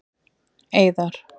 Eiðar